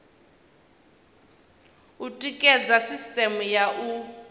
u tikedza sisiteme ya u